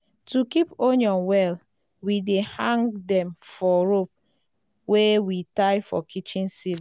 to keep onion well we dey hang dem for rope wey we tie for kitchen ceiling.